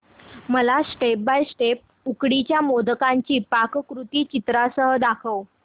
मला step by step उकडीच्या मोदकांची पाककृती चित्रांसह सांग